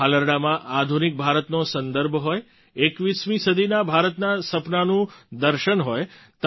આ હાલરડાંમાં આધુનિક ભારતનો સંદર્ભ હોય 21મી સદીના ભારતનાં સપનાંનું દર્શન હોય